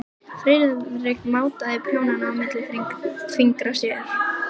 Friðrik mátaði prjónana milli fingra sér.